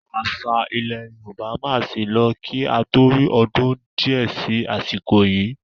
Àwọn àṣà ilẹ̀ Yorùbá máa sì lọ kí a tó rí ọdún di ẹ sì àsìkò yii